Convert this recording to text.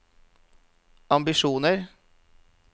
ambisjoner